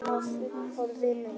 Handtekinn á flugbrautinni